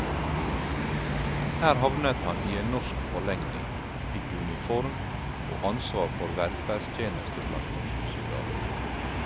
Her havnet han i en norsk forlegning, fikk uniform og ansvar for velferdstjeneste blant norske soldater.